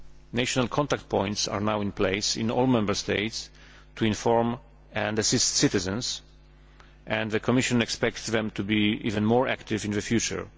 National contact points are now in place in all Member States to inform and assist citizens, and the Commission expects them to be even more active in the future.